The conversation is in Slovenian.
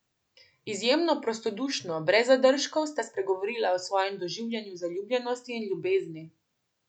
Izjemno prostodušno, brez zadržkov sta spregovorila o svojem doživljanju zaljubljenosti in ljubezni.